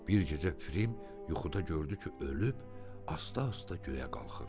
Bir gecə Fərim yuxuda gördü ki, ölüb, asta-asta göyə qalxır.